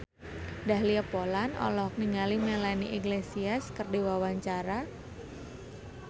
Dahlia Poland olohok ningali Melanie Iglesias keur diwawancara